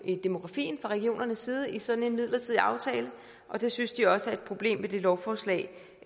i demografien fra regionernes side i sådan en midlertidig aftale og det synes de også er et problem med det lovforslag